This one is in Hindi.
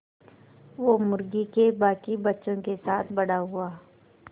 वो मुर्गी के बांकी बच्चों के साथ बड़ा हुआ